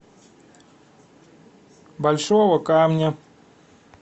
большого камня